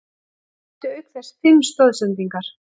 Hann átti auk þess fimm stoðsendingar